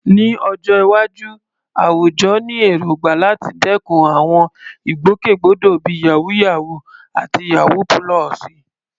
Ní ọjọ́ iwájú, àwùjọ ní èrògbà láti dẹ́kun àwọn ìgbòkègbodò bíi "yàwúyáwù" àti "yawú púlọ̀sì."